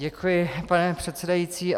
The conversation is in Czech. Děkuji, pane předsedající.